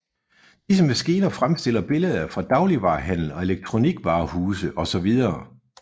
Disse maskiner fremstiller billeder fra dagligvarehandel og elektronikvarehuse osv